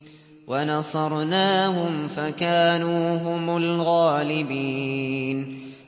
وَنَصَرْنَاهُمْ فَكَانُوا هُمُ الْغَالِبِينَ